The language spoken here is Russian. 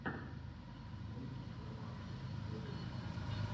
мультик про машу ютуб